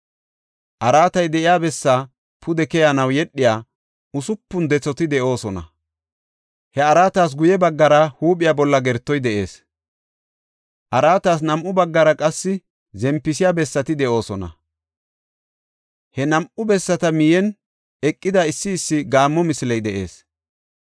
Araatay de7iya bessa pude keyanaw yedhiya usupun dethati de7oosona. He araatas guye baggara huuphiya bolla gertoy de7ees. Araatas nam7u baggara qese zempisiya bessati de7oosona; he nam7u bessata miyen eqida issi issi gaammo misiley de7ees.